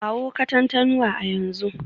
Kawo Katantanwa a yanzu